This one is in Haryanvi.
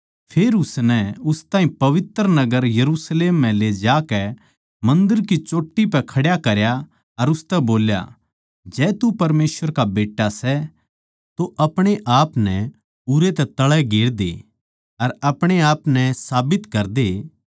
फेर उसनै उस ताहीं पवित्र नगर यरुशलेम म्ह ले जाकै मन्दर की चोट्टी पै खड्या करया अर उसतै बोल्या जै तू परमेसवर का बेट्टा सै तो अपणे आपनै उरै तै तळै गेर दे अर अपणे आपनै साबित करदे